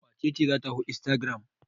Wace ce za ta hau instagram?